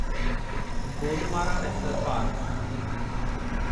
Gorumara national park